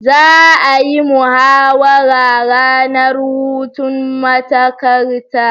Za'a yi muhawara ranar hutun matakarta